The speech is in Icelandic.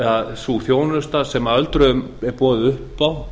að sú þjónusta sem öldruðum er boðið upp á